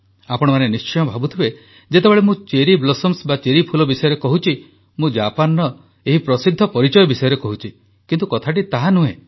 ଆପଣମାନେ ନିଶ୍ଚୟ ଭାବୁଥିବେ ଯେତେବେଳେ ମୁଁ ଚେରି ଫୁଲ ବିଷୟରେ କହୁଛି ମୁଁ ଜାପାନର ଏହି ପ୍ରସିଦ୍ଧ ପରିଚୟ ବିଷୟରେ କହୁଛି କିନ୍ତୁ କଥାଟି ତାହା ନୁହେଁ